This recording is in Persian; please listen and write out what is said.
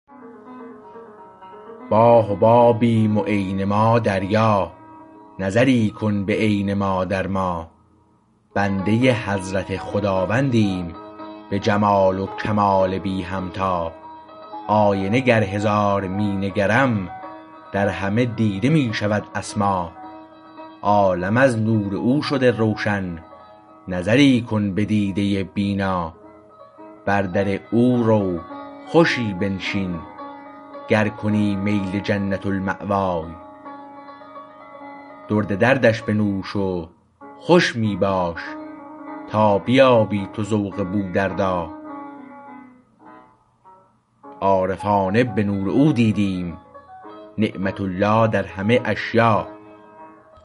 ما حبابیم و عین ما دریا نظری کن به عین ما در ما بنده حضرت خداوندیم به جمال و کمال بی همتا آینه گر هزار می نگرم در همه دیده می شود اسما عالم از نور او شده روشن نظری کن به دیده بینا بر در او رو خوشی بنشین گر کنی میل جنت الماوی درد دردش بنوش خوش می باش تا بیابی تو ذوق بودردا عارفانه به نور او دیدیم نعمت الله در همه اشیا